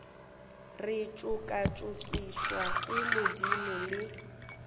re tšokatšokišwa ke madimo le